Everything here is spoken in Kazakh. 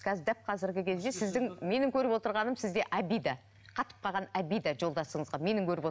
қазір дәп қазіргі кезде сіздің менің көріп отырғаным сізде обида қатып қалған обида жолдасыңызға менің көріп